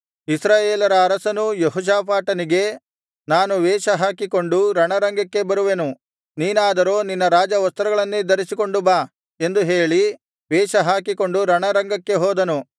ಇಸ್ರಾಯೇಲರ ಅರಸನೂ ಯೆಹೋಷಾಫಾಟನಿಗೆ ನಾನು ವೇಷಹಾಕಿಕೊಂಡು ರಣರಂಗಕ್ಕೆ ಬರುವೆನು ನೀನಾದರೂ ನಿನ್ನ ರಾಜವಸ್ತ್ರಗಳನ್ನೇ ಧರಿಸಿಕೊಂಡು ಬಾ ಎಂದು ಹೇಳಿ ವೇಷಹಾಕಿಕೊಂಡು ರಣರಂಗಕ್ಕೆ ಹೋದನು